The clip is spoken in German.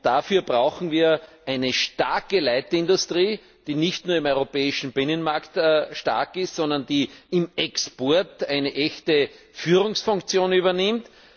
Dafür brauchen wir eine starke Leitindustrie, die nicht nur im europäischen Binnenmarkt stark ist, sondern die im Export eine echte Führungsfunktion übernimmt.